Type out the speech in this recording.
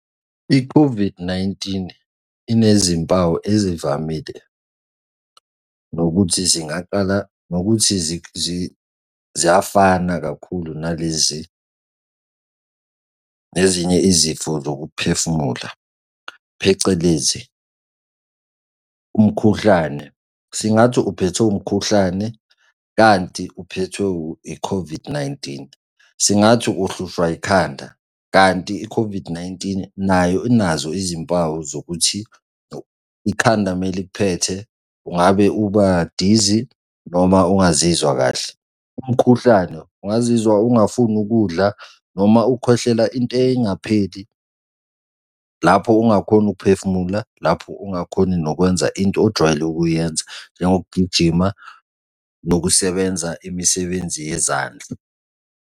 I-COVID-19, inezimpawu ezivamile nokuthi zingaqala, nokuthi ziyafana kakhulu nalezi zinye izifo zokuphefumula phecelezi, umkhuhlane. Singathi uphethwe umkhuhlane kanti uphethwe i-COVID-19, singathi uhlushwa ikhanda kanti i-COVID-19, nayo unazo izimpawu zokuthi ikhanda uma likuphethe ungabe ubadizi noma ungazizwa kahle. Umkhuhlane ungazizwa ungafuni ukudla noma ukhwehlela into engapheli lapho ungakhoni ukuphefumula lapho ungakhoni nokwenza into ojwayele ukuyenza njengokugijima nokusebenza imisebenzi yezandla.